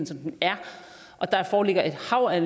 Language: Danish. som den er der foreligger et hav af